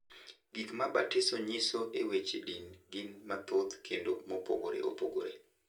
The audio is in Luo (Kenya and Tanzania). Gik ma batiso nyiso e weche din gin mathoth kendo mopogore opogore.